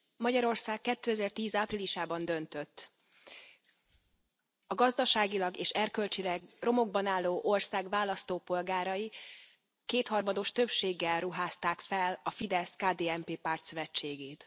Magyarország 2010 áprilisában döntött. A gazdaságilag és erkölcsileg romokban álló ország választópolgárai kétharmados többséggel ruházták fel a Fidesz KDNP pártszövetségét.